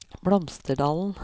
Blomsterdalen